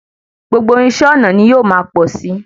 Gbogbo irinṣẹ́ ọnà ní yóò máa pọ̀ sí.